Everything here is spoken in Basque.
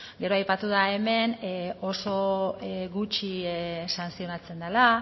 gero aipatu da hemen oso gutxi santzionatzen dela